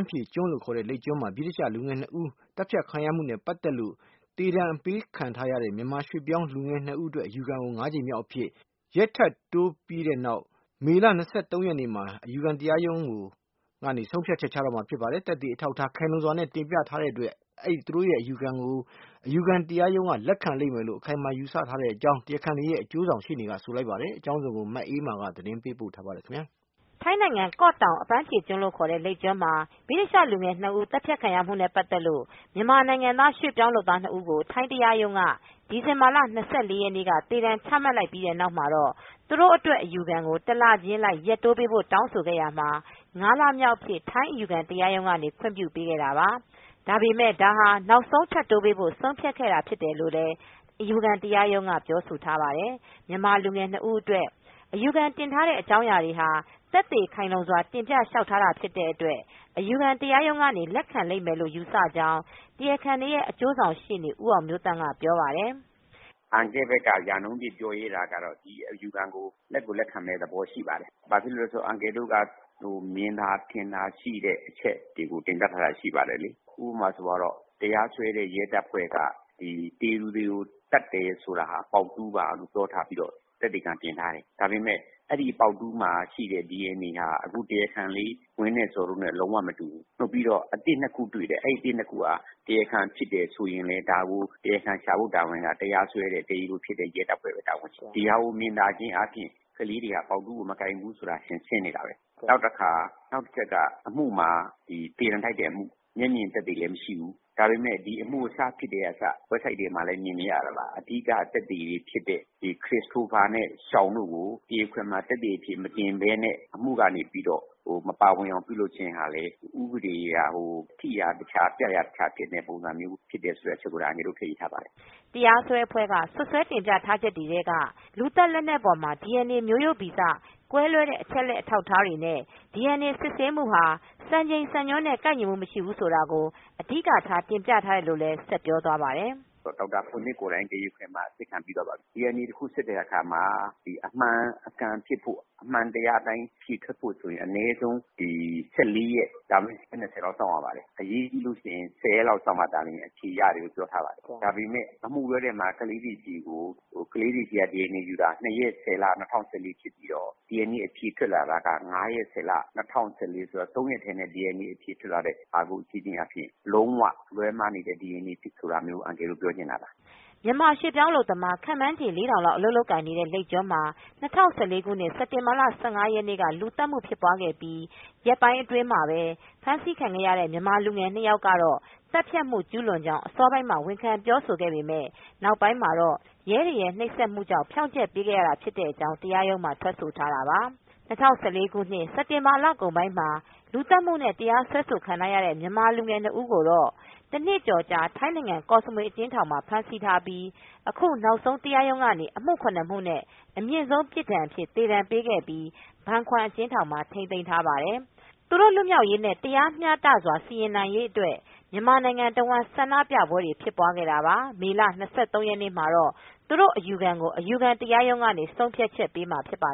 းဖြေကျွန်း လို့ခေါ်တဲ့ လိပ်ကျွန်းမှာ ဗြိတိသျှလူငယ် ၂ ဦး သတ်ဖြတ်ခံရမှုနဲ့ ပတ်သက်လို့ ထိုင်းတရားရုံးက ဒီဇင်ဘာလ ၂၄ ရက်နေ့ က သေဒဏ်ပေးခြင်း ခံရတဲ့ မြန်မာရွေ့ပြောင်းလူငယ်၂ ဦး အတွက် အယူခံကို ၅ ကြိမ်မြောက် အဖြစ် ရက်ထပ်တိုးပြီးတဲ့နောက် မေလ ၂၃ ရက်မှာ အယူခံတရားရုံးကနေ ဆုံးဖြတ်ချက်ချတော့မှာဖြစ်ပါတယ်။ သက်သေအထောက်အထား ခိုင်လုံစွာနဲ့ တင်ပြထားတဲ့အတွက် ဒီအယူခံကို အယူခံတရားရုံးက လက်ခံလိမ့်မယ်လို့ အခိုင်အမာယူဆကြောင်း တရားခံတွေရဲ့ အကျိုးဆောင်ရှေ့နေက ဆိုလိုက်ပါတယ်။ မအေးအေးမာက သတင်းပေးပို့ ထားပါတယ်။ ထိုင်းနိုင်ငံ ကော့တောင်အပန်းဖြေကျွန်း လို့ခေါ်တဲ့ လိပ်ကျွန်းမှာ ဗြိတိသျှ လူငယ် ၂ဦး သတ်ဖြတ်ခံရမှုနဲ့ ပတ်သက်လ့ို မြန်မာနိုင်ငံသားရွေ့ပြောင်းလုပ်သား ၂ဦးကို ထိုင်းတရားရုံးက ဒီဇင်ဘာလ ၂၄ ရက်နေ့က သေဒဏ်ချပြီးတဲ့နောက်မှာတော့ သူတို့ အတွက်အယူခံကို တလချင်းအလိုက် ရက်တိုးပေးဖို့တောင်းဆိုခဲ့ရာမှာမှာ ၅လမြောက်အဖြစ် ထိုင်းအယူခံတရားရုံးက ခွင်ပြုပေးခဲ့တာပါ။ ဒါပေမဲ့ ဒါဟာ နောက်ဆုံးထပ်တိုးပေးဖ့ို ဆုံးဖြတ်ခဲ့တာဖြစ်တယ်လို့ အယူခံတရားရုံးက ပြောဆိုထားတာပါ။ မြန်မာလူငယ်၂ ဦး အတွက် အယူခံတင်ထားတဲ့အကြောင်းအရာတွေဟာ သက်သေခိုင်လုံစွာနဲ့ တင်ပြလျောက်ထားတာ ဖြစ်တဲ့အတွက် အယူခံရုံးကနေ လက်ခံလိမ့်မယ်လို ယူဆကြောင်း တရားခံတွေရဲ့ အကျိုးဆောင်ရှေ့နေ ဦးအောင်မျိုးသန့်ကပြောပါတယ်။ “အန်ကယ့်ဘက်က ရာနှုန်းပြည့်ပြောရဲတာကတော့ ဒီအယူခံကို လက်ကိုလက်ခံမယ့် သဘောရှိပါတယ်။ ဘာဖြစ်လို့လဲဆိုတော့ အန်ကယ်တို့က မြင်သာထင်သာရှိတဲ့အချက်တွေကို တင်ပြထားတာရှိပါတယ်လေ။ ဥပမာဆိုပါတော့ တရားစွဲတဲ့ ရဲတပ်ဖွဲ့က ဒီ သေတဲ့သူတွေကို သတ်တဲ့ဟာက ပေါက်တူးပါလို့ပြောထားပြီးတော့ သက်သေခံပြင်ထားတယ်။ ဒါပေမယ့် အဲဒီပေါက်တူးမှာရှိတဲ့ DNA ဟာ အခု တရားခံလေး ဝင်း နဲ့ ဇော် တို့နဲ့လုံးဝမတူဘူး။ ပြီးတော့ အသစ် ၂ ခုတွေ့တယ်။ ဒီအသစ် ၂ ခုက တရားခံဖြစ်တယ်ဆိုရင်လည်း ဒါကို တရားခံရှာဖို့တာဝန်က ဒါကို တရားစွဲတဲ့ ရဲတပ်ဖွဲ့ရဲ့တာဝန်ဖြစ်တယ်။ ဒါကိုမြင်ချင်းအားဖြင့် ကလေးတွေက ပေါက်တူးကိုမကိုင်ဘူးဆိုတာ ထင်ရှားနေတာပဲ။ နောက်တချက်က အမှုမှာ သေဒဏ်ထိုက်တဲ့အမှု ၊ မျက်မြင်သက်သေလည်းမရှိဘူး။ ဒါပေမယ့် ဒီအမှုစဖြစ်ကတည်းက website တွေမှာလည်း မြင်နေရပါတယ် အဓိက သက်သေတွေဖြစ်တဲ့ Christopher နဲ့ Sean တို့ကို တရားခွင်မှာ သက်သေအဖြစ်မတင်ဘဲနဲ့ အမှုကနေပြီးတော့ မပါဝင်အောင်ပြုလုပ်ခြင်းဟာလည်း ဥပဒေကြီးက ထိရာတခြား၊ ပြရာတခြားဖြစ်တဲ့ပုံစံ မျိုးဖြစ်တယ်ဆိုတဲ့အချက်ကိုလည်း အန်ကယ်တို့ထည့်ရေးထားတယ်။” တရားစွဲအဖွဲ့က စွတ်စွဲတင်ပြထားချက်တွေထဲက လူသတ်လက်နက်ပေါ်မှာ DNA မျိုးရိုးဗီဇ ကွဲလွဲတဲ့ အချက်အလက်အထောက်အထားတွေနဲ့ DNA စစ်ဆေးမူဟာ စံချိန်စံညွန်းနဲ့ ကိုက်ညီမူမရှိဘူးဆိုတာကို အဓိကထား တင်ပြထားတယ်လို့ လည်းဆက်ပြောသွားပါတယ်။ “ဒေါက်တာပွန်ထစ် ကိုယ်တိုင် တရားခွင်မှာ အစစ်ခံပြီးသွားပါပြီ။ DNA တခု စစ်တဲ့အခါမှာ အမှန်အကန်ဖြစ်ဖို့ ၊ အမှန်တရားအတိုင်းဖြစ်ဖို့ဆိုရင် အနည်းဆုံး ၁၄ ရက် ဒါမှမဟုတ် ရက် ၂၀ လောက်စောင့်ရပါတယ်။ အရေးကြီးလို့ရှိရင် ၁၀ ရက်လောက်စောင့်မှသာလျှင် အဖြေရတယ်လို့ သိရပါတယ်။ ဒါပေမယ့် အမှုတွဲမှာ ကလေးတွေဆီက DNA ယူတာ ၂ ရက် ၁၀ လ ၂၀၁၄ ဖြစ်ပြီးတော့ DNA ထွက်လာတာက ၅ ရက် ၁၀ လ ၂၀၁၄ ဆိုတော့ ၃ ရက်ထဲနဲ့ DNA အဖြေထွက်လာတာမျိုးကို ကြည့်ချင်းအားဖြင့် လုံးဝလွဲမှားနေတဲ့ DNA ဆိုတာကို အန်ကယ်တို့ ပြောချင်တာပါ။” မြန်မာရွှေ့ပြောင်းအလုပ်သမား ခန့်မှန်းချေ ၄,၀၀၀ လောက် အလုပ်လုပ်ကိုင်နေတဲ့ လိပ်ကျွန်းမှာ ၂၀၁၄ ခုနှစ် စက်တင်ဘာ ၁၅ ရက်နေ့က လူသတ်မှုဖြစ်ပွားပြီး ရက်ပိုင်းအတွင်းမှာပဲ ဖမ်းဆီးခံခဲ့ရတဲ့ မြန်မာလူငယ် ၂ ယောက်ကတော့ သတ်ဖြတ်မှု ကျုးလွန်ကြောင်း အစောပိုင်းမှာတော့ ဝန်ခံပြောဆိုခဲ့ပေမယ့် နောက်ပိုင်းမှာတော့ ရဲတွေရဲ့ နှိပ်စက်မှုကြောင့် ဖြောင့်ချက်ပေးခဲ့တာ ဖြစ်တဲ့အကြောင်း တရားရုံးမှာ ထွက်ဆိုခဲ့တာပါ။ ၂၀၁၄ ခုနှစ် စက်တင်ဘာလကုန်ပိုင်းမှာ လူသတ်မူနဲ့ တရားစွဲဆိုခံခဲ့ရတဲ့ မြန်မာလူငယ် ၂ ဦးကိုတော့ တနှစ်ကျော်ကြာ ထိုင်းနိုင်ငံကော့စမွေ အကျဉ်းထောင်မှာ ဖမ်းဆီးထားပြီး အခုနောက်ဆုံး တရားရုံးကနေ အမှု ၇ မှုနဲ့ အမြင့်ဆုံး ပြစ်ဒဏ်အဖြစ် သေဒဏ်ပေးခဲ့ပြီး ဘန်ခွမ်အကျဉ်းထောင်မှာ ထိမ်းသိမ်းထားပါတယ်။ သူတို့ လွှတ်မြောက်ရေးနဲ့ တရားမျှတစွာ စီရင်နိုင်ဖို့အတွက် မြန်မာနိုင်ငံတဝှမ်း ဆန္ဒပြပွဲတွေလည်း ဖြစ်ပွားခဲ့တာပါ။မေလ၂၃ ရက်နေ့မှာတော့ သူတို့ အယူခံကို အယူခံတရားရုံးက ဆုံးဖြတ်ချက် ပေးမှာ ဖြစ်ပါ